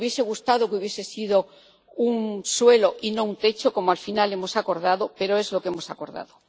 Nos habría gustado que hubiese sido un suelo y no un techo, como al final hemos acordado, pero es lo que hemos acordado.